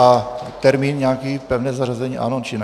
A termín nějaký, pevné zařazení ano, či ne?